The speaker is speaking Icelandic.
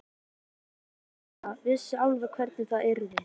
Lilla vissi alveg hvernig það yrði.